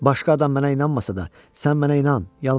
Başqa adam mənə inanmasa da, sən mənə inan, yalvarıram sənə.